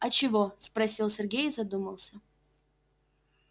а чего спросил сергей и задумался